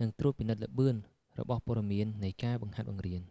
និងត្រួតពិនិត្យល្បឿនរបស់ព័ត៌មាននៃការបង្ហាត់បង្រៀន